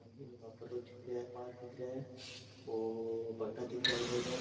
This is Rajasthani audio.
और यहां पर दिख रहा है पहाड़ दिख रहा है और भाटा दिख रहा है बड़ा बड़ा।